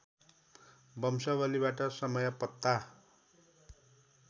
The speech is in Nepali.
वंशावलीबाट समय पत्ता